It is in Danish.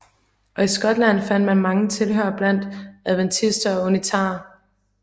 Og i Skotland fandt han mange tilhørere blandt adventister og unitarer